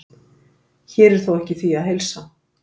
Hér er þó ekki því að heilsa.